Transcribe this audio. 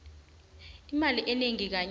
imali enengi kanye